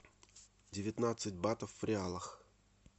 девятнадцать батов в реалах